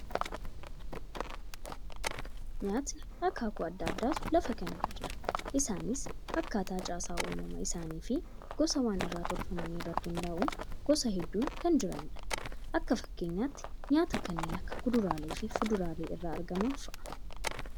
Nyaatni akaakuu addaa addaatu lafa kana irra jira. Isaanis akkaataa caasaa uumama isaanii fi gosa waan irraa tolfaman irratti hundaa'uun gosa hedduun kan jiranidha. Akka fakkeenyaatti, nyaata kanneen akka kuduraalee fi fuduraalee irraa argaman fa'aa.